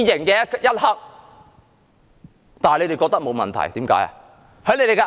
但當局竟然覺得沒有問題，為甚麼呢？